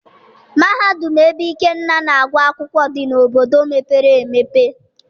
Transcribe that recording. Mahadum ebe Ikenna na-agụ akwụkwọ dị n'obodo mepere emepe.